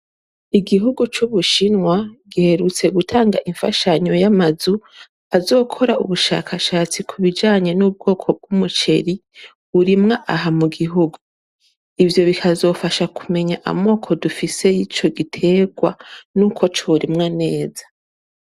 Igihugu c'Ubushinwa giherutse gutanga imfashanyo y'amazu azokora ubushakashatsi ku bijanye n'ubwoko bw'umuceri burimwa aha mu gihugu. Ivyo bikazofasha kumenya amoko dufise y'ico gitegwa n'uko corimwa neza.